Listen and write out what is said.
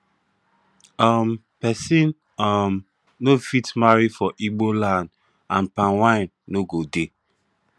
um pesin um no fit marry for igbo land and palm wine no go dey